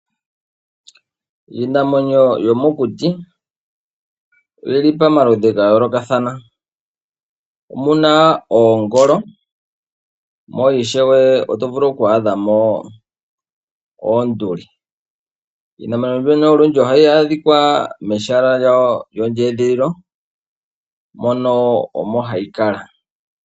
Iinamwenyo yomokuti oyili pamaludhi gayoolokathana ,omu na oongolo mo ishewe oto vulu oku adha mo oonduli. Iinamwenyo mbyono olundji ohayi adhika mehala lyayo lyondjeedhililo mono omo hayi kala.